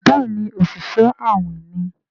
Béèni Oṣiṣẹ awin ní.